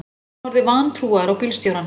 Hann horfði vantrúaður á bílstjórann.